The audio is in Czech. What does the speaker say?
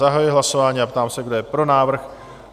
Zahajuji hlasování a ptám se, kdo je pro návrh?